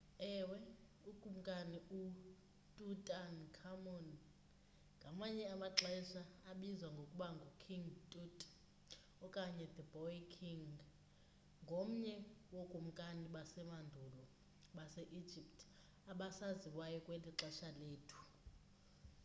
ewe ukumkani ututankhamun ngamanye amaxesha abizwa ngokuba ngu king tut okanye the boy king ngomnye wokumkani bamandulo base-egypt abasaziwayo kweli xesha lethu